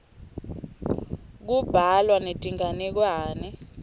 kubhalwa netinganekwane